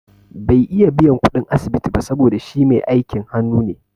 Bai iya biyan kuɗin asibiti ba saboda shi mai aikin hanu ne